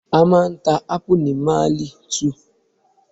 A máa ń ta Ápù ni Mailí 2